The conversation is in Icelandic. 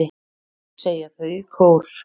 segja þau í kór.